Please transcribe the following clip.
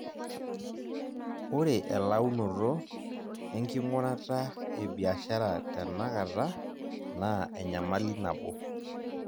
Ore elaunnoto enking'urata e biashara tenakata, naa enyamali nabo.